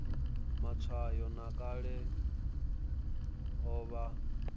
matshwayo a kale o vha